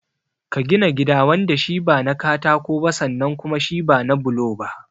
Ka gina gida wanda shi ba na katako ba sannan kuma shi ba na bulo ba.